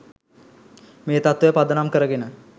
මේ තත්වය පදනම් කරගෙන